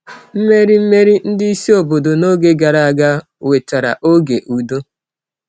Mmeri Mmeri ndị isi obodo n’oge gara aga wetara oge udo.